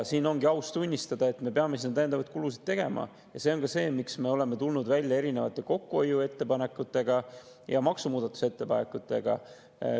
Ongi aus tunnistada, et me peame tegema täiendavaid kulutusi, ja see on põhjus, miks me oleme tulnud välja erinevate kokkuhoiu- ja maksumuudatusettepanekutega.